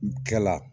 Kɛla